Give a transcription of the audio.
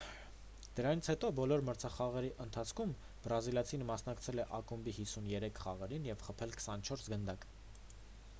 դրանից հետո բոլոր մրցախաղերի ընթացքում բրազիլացին մասնակցել է ակումբի 53 խաղերին և խփել 24 գնդակ